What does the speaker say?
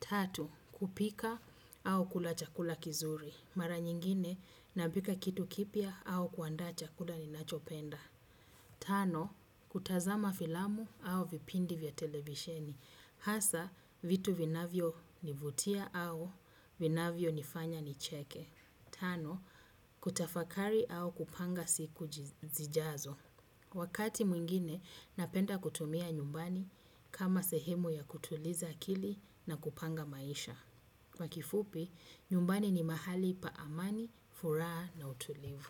Tatu, kupika au kula chakula kizuri. Mara nyingine, napika kitu kipya au kuandaa chakula ninachopenda. Tano, kutazama filamu au vipindi vya televisheni. Hasa, vitu vinavyo nivutia au vinavyo nifanya nicheke. Tano, kutafakari au kupanga siku zijazo. Wakati mwingine napenda kutumia nyumbani kama sehemu ya kutuliza akili na kupanga maisha. Kwa kifupi, nyumbani ni mahali pa amani, furaha na utulivu.